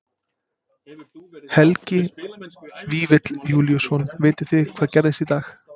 Helgi Vífill Júlíusson: Vitið þið hvað gerðist í dag?